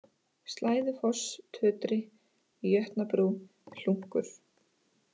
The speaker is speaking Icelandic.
Slæðufoss, Tötri, Jötnabrú, Hlunkur